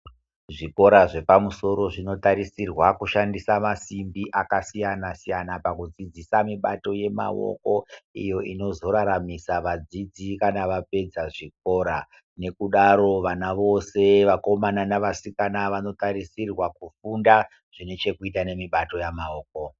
Zvikora zvepamusoro zvinotarisirwa ku shandisa masimbi aka siyana siyana pakudzidzisa mibato yemaoko iyo inozoraramisa vadzidzi kana vapedza zvikora nekudaro vana vose vakomana nevasikana vanotarisirwa kufunda zvine chekuita nemibato yemaoko.